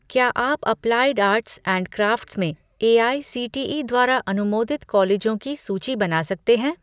क्या आप applied arts and crafts में एआईसीटीई द्वारा अनुमोदित कॉलेजों की सूची बना सकते हैं